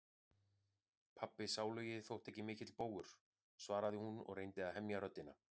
Pabbi sálugi þótti ekki mikill bógur, svaraði hún og reyndi að hemja röddina.